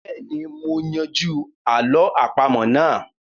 Bẹ́ẹ̀ni, mo yanjú àlọ́ àpamọ́ náà